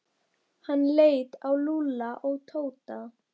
Hann leit á Lúlla og Tóta.